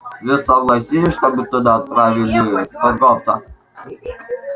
он согласился чтобы туда отправили торговца